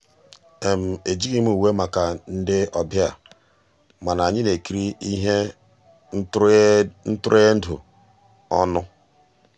ejíghị m ùwé màkà ndị́ ọ̀bịá mànà ànyị́ ná-èkírí íhé ntụ́rụ́èndụ́ ọnụ́.